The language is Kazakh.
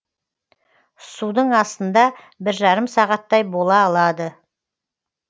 судың астында бір жарым сағаттай бола алады